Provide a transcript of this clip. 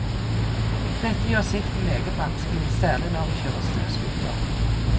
Dette gjør sikten meget vanskelig, særlig når vi kjører snøscooter.